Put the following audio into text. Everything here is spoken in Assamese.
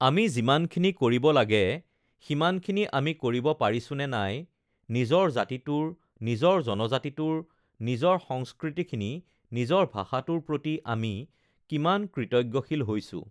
আমি যিমানখিনি কৰিব লাগে সিমানখিনি আমি কৰিব পাৰিছোঁ নে নাই নিজৰ জাতিটোৰ নিজৰ জনজাতিটোৰ নিজৰ সংস্কৃতিখিনি নিজৰ ভাষাটোৰ প্ৰতি আমি কিমান কৃতজ্ঞশীল হৈছোঁ